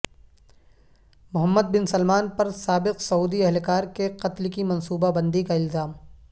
محمد bin Salman پر سابق سعودی اہلکار کے قتل کی منصوبہ بندی کا الزام